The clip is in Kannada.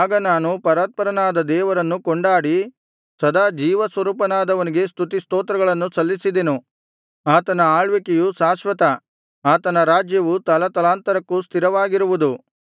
ಆಗ ನಾನು ಪರಾತ್ಪರನಾದ ದೇವರನ್ನು ಕೊಂಡಾಡಿ ಸದಾ ಜೀವಸ್ವರೂಪನಾದವನಿಗೆ ಸ್ತುತಿಸ್ತೋತ್ರಗಳನ್ನು ಸಲ್ಲಿಸಿದೆನು ಆತನ ಆಳ್ವಿಕೆಯು ಶಾಶ್ವತ ಆತನ ರಾಜ್ಯವು ತಲತಲಾಂತರಕ್ಕೂ ಸ್ಥಿರವಾಗಿರುವುದು